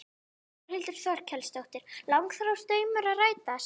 Þórhildur Þorkelsdóttir: Langþráður draumur að rætast?